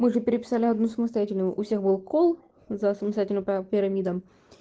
уже переписала одну самостоятельному у всех был кол за самостоятельную по пирамидам